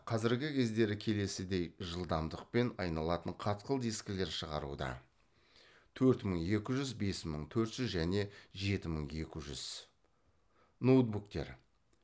қазіргі кездері келесідей жылдамдықпен айналатын қатқыл дискілер шығаруда төрт мың екі жүз бес мың төрт жүз және жеті мың екі жүз